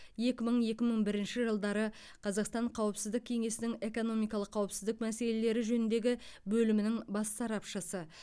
екі мың екі мың бірінші жылдары қазақстан қауіпсіздік кеңесінің экономикалық қауіпсіздік мәселелері жөніндегі бөлімінің бас сарапшысы